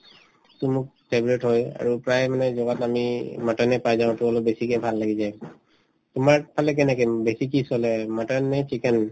তো মোৰ favorite হয় আৰু প্ৰায় মানে জগাত আমি mutton য়ে পাই যাওঁ to অলপ বেছিকে ভাল লাগি যায় তোমাৰ ফালে কেনেকে উম বেছি কি চলে mutton নে chicken